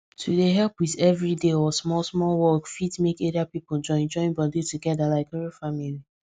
to dey help with everyday or small small work fit make area people join join body together like real family